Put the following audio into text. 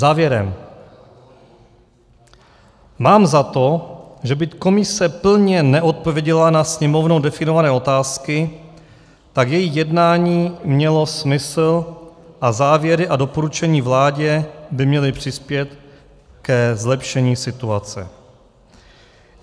Závěrem: Mám za to, že byť komise plně neodpověděla na Sněmovnou definované otázky, tak její jednání mělo smysl a závěry a doporučení vládě by měly přispět ke zlepšení situace.